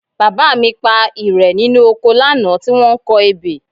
Bàbá mi pa ìrẹ̀ nínú oko lánàá tí wọ́n ń kọ ebè